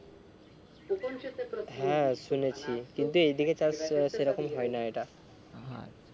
হ্যাঁ শুনেছি কিন্তু এইদিকে চাষ সেরকম হয় না এটা